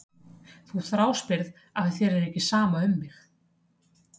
Þú þráspyrð af því að þér er ekki sama um mig.